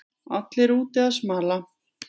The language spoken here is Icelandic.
Allir úti að smala